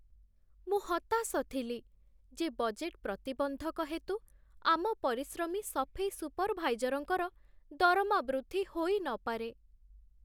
ମୁଁ ହତାଶ ଥିଲି ଯେ ବଜେଟ୍ ପ୍ରତିବନ୍ଧକ ହେତୁ ଆମ ପରିଶ୍ରମୀ ସଫେଇ ସୁପର୍‌ଭାଇଜର୍‌‌ଙ୍କର ଦରମା ବୃଦ୍ଧି ହୋଇନପାରେ।